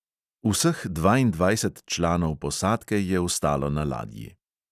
Vseh dvaindvajset članov posadke je ostalo na ladji.